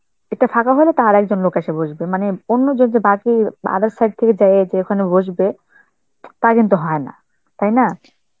এটা ফাঁকা হইলে, তো আর একজন লোক আইসে বসবে মানে অন্য জন other side থেকে যাইয়ে যে ওখানে বসবে, তা কিন্তু হয় না, তাই না?